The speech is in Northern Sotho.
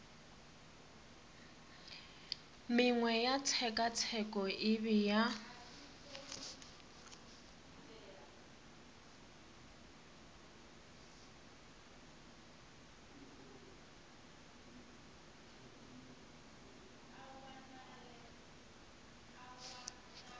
mengwe ya tshekatsheko e bea